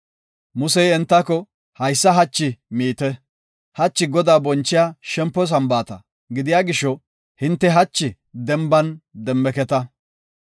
Musey entako, “Haysa hachi miite; hachi Godaa bonchiya shempo Sambaata gidiya gisho, hinte hachi denban demmeketa.